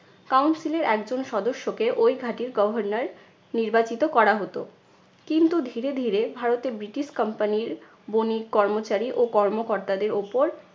council এর একজন সদস্যকে ওই ঘাঁটির governor নির্বাচিত করা হতো। কিন্তু ধীরে ধীরে ভারতে ব্রিটিশ company র বণিক, কর্মচারী ও কর্মকর্তাদের ওপর